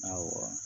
Awɔ